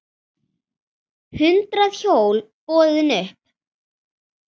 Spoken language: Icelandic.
Hundrað hjól boðin upp